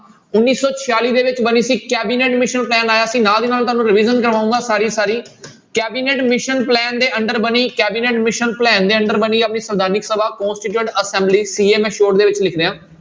ਉੱਨੀ ਸੌ ਛਿਆਲੀ ਦੇ ਵਿੱਚ ਬਣੀ ਸੀ cabinet mission plan ਆਇਆ ਸੀ ਨਾਲ ਦੀ ਨਾਲ ਤੁਹਾਨੂੰ revision ਕਰਵਾਊਂਗਾ ਸਾਰੀ ਸਾਰੀ cabinet mission plan ਦੇ under ਬਣੀ cabinet mission plan ਦੇ under ਬਣੀ ਆਪਣੀ ਸੰਵਿਧਾਨਕ ਸਭਾ constituent assembly CA ਮੈਂ short ਦੇ ਵਿੱਚ ਲਿਖ ਰਿਹਾਂ।